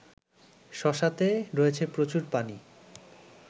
শশাতে রয়েছে প্রচুর পানি